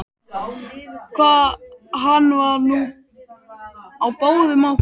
Hann var nú á báðum áttum.